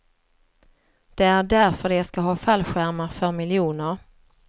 Det är därför de ska ha fallskärmar för miljoner.